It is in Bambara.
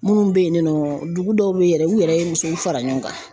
Minnu bɛ yen nɔ dugu dɔw bɛ yen yɛrɛ u yɛrɛ ye musow fara ɲɔgɔn kan